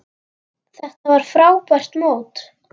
Þetta var frábært mót.